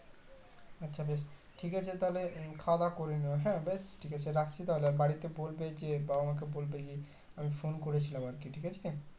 আচ্ছা বেশ ঠিকাছে তাহলে খাওয়া দাওয়া করে নিয়ো হ্যাঁ বেশ ঠিকাছে রাখছি তাহলে আর বাড়িতে বলবে যে বাবা মাকে বলবে যে আমি Phone করেছিলাম আরকি ঠিক আছে